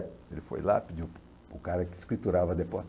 Ele foi lá, e pediu para o cara que escriturava